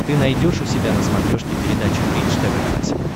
ты найдешь у себя на смотрешке передачу бридж тв классик